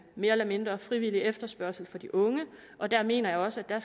mere eller mindre frivillig efterspørgsel fra de unge og der mener jeg også at